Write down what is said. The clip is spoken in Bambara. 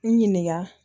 N ɲininka